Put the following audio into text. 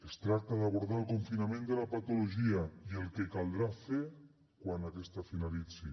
es tracta d’abordar el confinament de la patologia i el que caldrà fer quan aquesta finalitzi